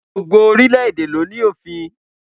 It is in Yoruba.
Gbogbo orílẹ̀-èdè ló ní òfin